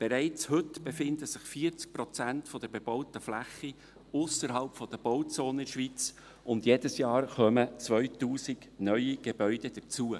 Bereits heute befinden sich 40 Prozent der bebauten Fläche in der Schweiz ausserhalb der Bauzonen, und jedes Jahr kommen 2000 neue Gebäude hinzu.